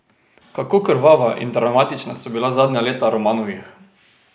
Kako krvava in travmatična so bila zadnja leta Romanovih?